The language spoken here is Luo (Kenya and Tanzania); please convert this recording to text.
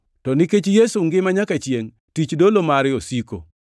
to nikech Yesu ngima nyaka chiengʼ, tich dolo mare osiko.